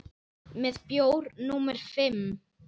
Með bjór númer fimm.